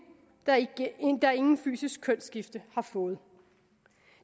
der intet fysisk kønsskifte har fået